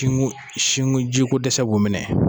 sinko, jiko dɛsɛ bɔ minɛ